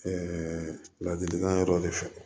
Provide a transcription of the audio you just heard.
ladilikan dɔ de fɔ